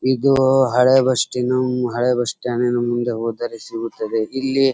ಇದು ಹಳೆ ಬಸ್ ನ ಹಳೆ ಬಸ್ ಸ್ಟ್ಯಾಂಡ್ ಡಿನ ಮುಂದೆ ಹೋದರೆ ಸಿಗುತದ್ದೆ ಇಲ್ಲಿ --